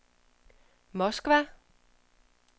Moskva